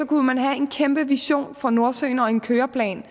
kunne man have en kæmpe vision for nordsøen og en køreplan